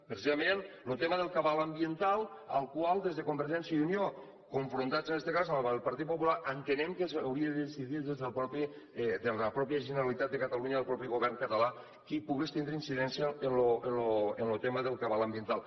precisament lo tema del cabal ambiental el qual des de convergència i unió confrontats en este cas amb el partit popular entenem que s’hauria de decidir des de la mateixa generalitat de catalunya el mateix govern català que pogués tindre incidència en lo tema del cabal ambiental